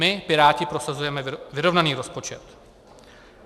My Piráti prosazujeme vyrovnaný rozpočet.